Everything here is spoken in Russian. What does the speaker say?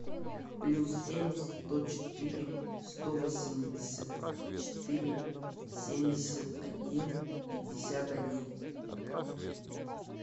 плюс семь сто четыре сто восемьдесят четыре семьдесят один пятьдесят один